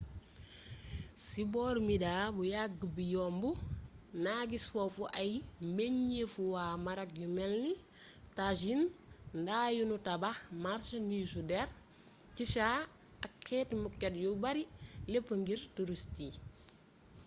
ci booru midha bu yàgg bi yomb nag is foofu ay mbenjeefu waa marok yu melni tajin nda yu nu tabax marsandiisu der chicha ak xeeti moket yu bare lepp ngir turist yi